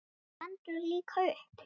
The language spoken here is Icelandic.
Hann stendur líka upp.